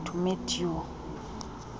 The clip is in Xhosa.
to meet you